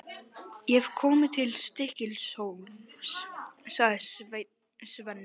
Ég hef komið til Stykkishólms, sagði Svenni.